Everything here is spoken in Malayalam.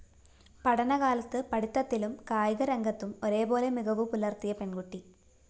പഠന കാലത്ത് പഠിത്തത്തിലും കായികരംഗത്തും ഒരേപോലെ മികവുപുലര്‍ത്തിയ പെണ്‍കുട്ടി